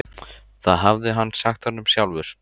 Það hafði hann sagt honum sjálfur.